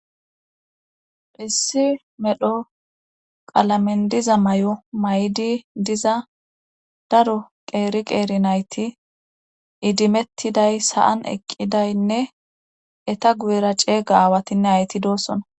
Issi medho qalamen diza mayo mayidi diza daro qeeri qeeri nayti idimettiday sa7an eqqidaynne eta guyera ceega aawatinne aayeti doosona.